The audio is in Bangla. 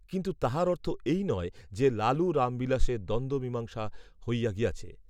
কিন্তু তাহার অর্থ এই নয় যে, লালু রামবিলাসের দ্বন্দ্ব মীমাংসা হইয়া গিয়াছে